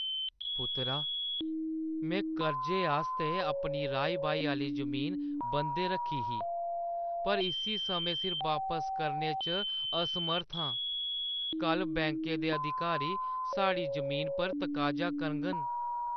पुत्तरा, मैं कर्जे आस्तै अपनी राही-बाही आह्‌ली जमीन बंदै रक्खी ही पर इस्सी समें सिर वापस करने च असमर्थ हा। कल्ल बैंकें दे अधिकारी साढ़ी जमीना पर तकाजा करङन।